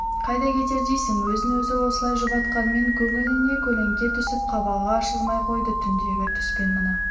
қайда кетер дейсің өзін-өзі осылай жұбатқанмен көңіліне көлеңке түсіп қабағы ашылмай қойды түндегі түс пен мына